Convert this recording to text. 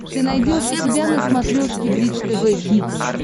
ты найдешь у себя на смотрешке бридж тв хитс